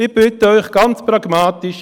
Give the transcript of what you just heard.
Ich bitte Sie, ganz pragmatisch: